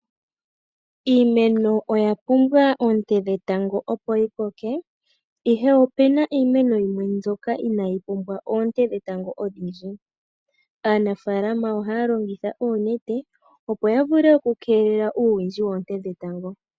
Iimeno oya pumbwa oonte dhetango opo yi koke ashike opuna iimeno yimwe mbyoka inaayi pumbwa oonte dhetango odhindji. Aanafaalama ohaya longitha oonete opo ya vule okukeelela uuwindji woonte dhetango.